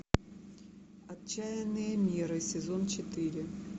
отчаянные меры сезон четыре